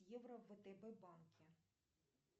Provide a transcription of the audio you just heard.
евро в втб банке